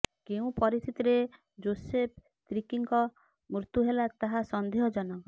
କେଉଁ ପରିସ୍ଥିତିରେ ଯୋସେଫ ତିର୍କୀଙ୍କ ମୃତ୍ୟୁ ହେଲା ତାହା ସଂନ୍ଦେହ ଜନକ